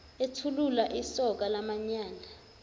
ethulula isoka lamanyala